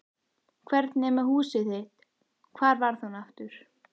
Hvernig er með húsið þitt- hvar var það nú aftur?